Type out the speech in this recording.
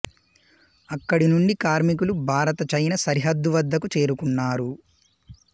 అక్కడి నుండి కార్మికులు భారత చైనా సరిహద్దు వద్దకు చేరుకున్నారు